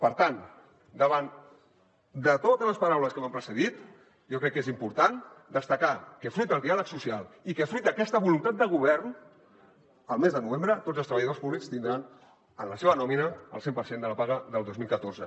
per tant davant de totes les paraules que m’han precedit jo crec que és important destacar que fruit del diàleg social i que fruit d’aquesta voluntat de govern el mes de novembre tots els treballadors públics tindran en la seva nòmina el cent per cent de la paga del dos mil catorze